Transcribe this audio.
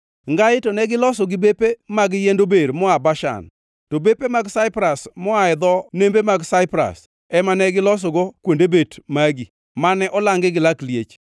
Ngai to ne giseloso gi bepe mag yiend ober moa Bashan, to bepe mag saipras moa e dho nembe mag saipras ema ne gilosogo kuonde bet magi, mane olangi gi lak liech.